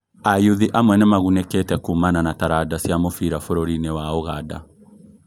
Ayuthi amwe nĩmagunĩkĩte kũũmana na taranda cia mũbira bũrũri-inĩ wa Ũganda